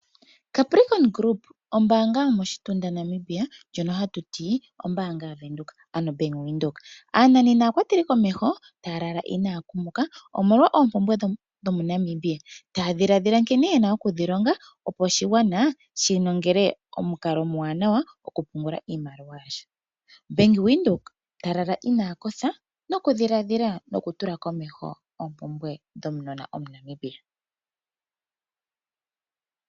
Caprikon groupa ombaanga yomoshitunda Namibia ndyono hatu ti ombaanga yaVenduka, ano Bank Windhoek. Aananena naakwateli komeho taya lala inaya kumuka, omolo oompumbwe dhomuNamibia, taa ndhiladhila nkene yena okudhi longa ,opo oshigwana shi nongele omukalo omuwanawa goku pungula iimaliwa ya sho . Bank Windhoek ta lala ina kotha noku ndhiladhila noku tula komeho opumbwe dhomunona omuNamibia .